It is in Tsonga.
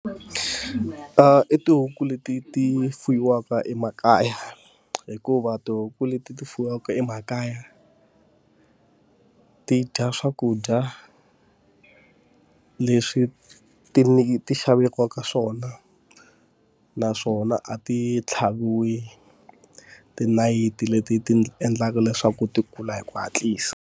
I tihuku leti ti fuwiwaka emakaya, hikuva tihuku leti ti fuwiwaka emakaya ti dya swakudya i leswi ti ti xaveriwaka swona. Naswona a ti tlhaviwi tinayiti leti ti endlaka leswaku ti kula hi ku hatlisa.